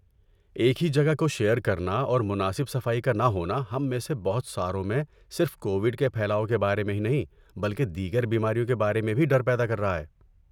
ایک ہی جگہ کو شیئر کرنا اور مناسب صفائی کا نہ ہونا ہم میں سے بہت ساروں میں صرف کوویڈ کے پھیلاؤ کے بارے میں ہی نہیں بلکہ دیگر بیماریوں کے بارے میں بھی ڈر پیدا کر رہا ہے۔